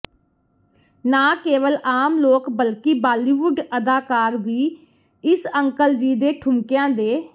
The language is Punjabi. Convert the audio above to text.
ਨਾ ਕੇਵਲ ਆਮ ਲੋਕ ਬਲਕਿ ਬਾਲੀਵੁੱਡ ਅਦਾਕਾਰ ਵੀ ਇਸ ਅੰਕਲ ਜੀ ਦੇ ਠੁਮਕਿਆਂ ਦੇ